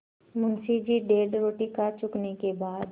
मुंशी जी डेढ़ रोटी खा चुकने के बाद